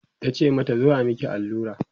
tace mata "zo a Miki allura?